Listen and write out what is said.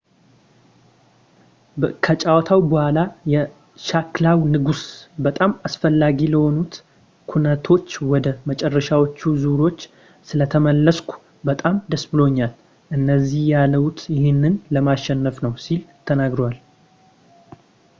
ከጨዋታው በኋላ የሸክላው ንጉስ በጣም አስፈላጊ ለሆኑት ኩነቶች ወደ መጨረሻዎቹ ዙሮች ስለተመለስኩ በጣም ደስ ብሎኛል እዚህ ያለሁት ይህንን ለማሸነፍ ነው ሲል ተናግሯል